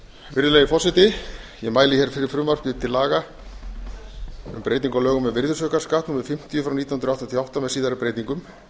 virðulegi forseti ég mæli hér fyrir frumvarpi til laga um breytingu á lögum um virðisaukaskatt númer fimmtíu nítján hundruð áttatíu og átta með síðari breytingum